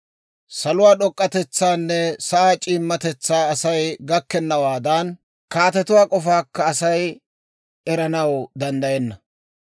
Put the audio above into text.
Salotuwaa d'ok'k'atetsaanne sa'aa c'iimmatetsaa Asay gakkennawaadan, kaatetuwaa k'ofaakka Asay eranaw danddayenna.